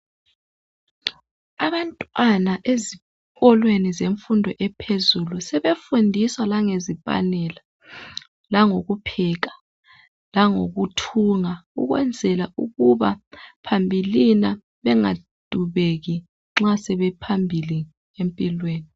Abantwana ezikolweni zemfundo ephezulu sebefundiswa langezipanela langokupheka langokuthunga ukwenzela ukuba phambilini bengadubeki nxa sebephambili empilweni.